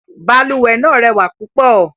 Balùwẹ̀ náà rẹwà púpọ̀.